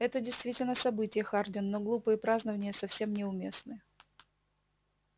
это действительно событие хардин но глупые празднования совсем не уместны